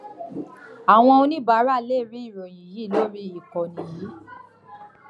àwọn oníbàárà lè rí ìròyìn yìí lórí ìkànnì yìí